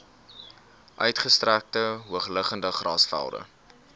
uitgestrekte hoogliggende grasvelde